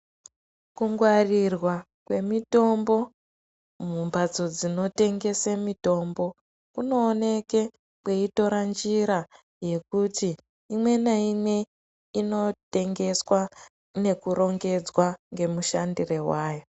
Kungwarirwa kwemitombo mumbatso dzinotengese mitombo, kunooneke kweitora njira yekuti imwe naimwe inotengeswa nekurongedzwa ngemushandire wayo.